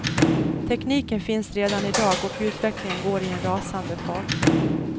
Tekniken finns redan i dag och utvecklingen går i en rasande fart.